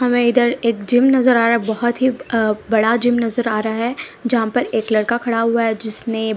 हमें इधर एक जिम नजर आ रहा है बहुत ही अ बड़ा जिम नजर आ रहा है जहाँ पर एक लड़का खड़ा हुआ है जिसने --